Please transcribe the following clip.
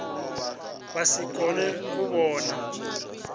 vha si kone u vhona